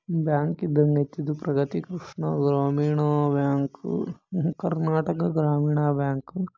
ಇದು ಬ್ಯಾಂಕ ಇದಂಗೈತಿ ಇದು ಪ್ರಗತಿ ಕೃಷ್ಣ ಗ್ರಾಮೀಣ ಬ್ಯಾಂಕ್ ಕರ್ನಾಟಕದ ಗ್ರಾಮೀಣ ಬ್ಯಾಂಕು .